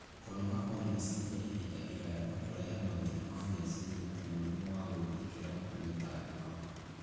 Kũnoga kwa meciria ihinda iraya no kũrehe mathĩna ma meciria, ta mũrimũ wa gwĩthikĩra na mĩtangĩko.